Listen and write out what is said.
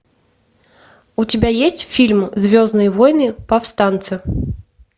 у тебя есть фильм звездные войны повстанцы